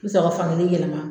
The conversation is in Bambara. N sɔrɔ ka fan gelen yɛlɛma